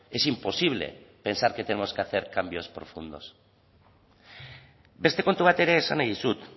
es imposible pensar que tenemos que hacer cambios profundos beste kontu bat ere esan nahi dizut